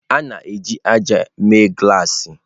A na-eji ájá mee glassi.